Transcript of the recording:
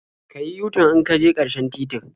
Ka yi yu-tan in ka je ƙarshen titin.